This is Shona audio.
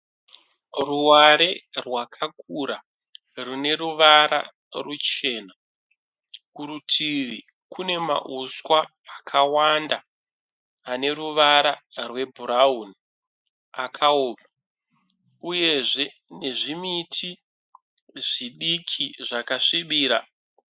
Ruware rwakakura rine ruvara ruchena, kurutivi kune mauswa akawanda ane ruvara rwe brown akaoma uyezve kune zvimiti zvidiki zvakasvibira.